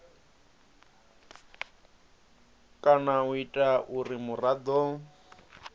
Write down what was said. kana u ita uri muraḓo